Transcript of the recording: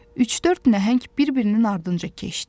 Üç-dörd nəhəng bir-birinin ardınca keçdi.